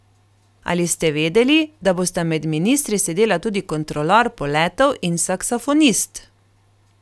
Ali ste vedeli da bosta med ministri sedela tudi kontrolor poletov in saksofonist?